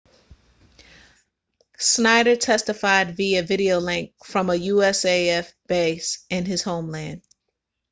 schneider testified via videolink from a usaf base in his homeland